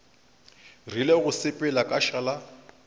rile go sepela ka šala